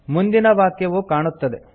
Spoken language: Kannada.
ಮುಂದಿನ ವಾಕ್ಯವು ಕಾಣುತ್ತದೆ